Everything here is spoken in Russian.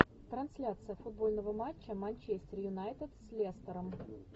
трансляция футбольного матча манчестер юнайтед с лестером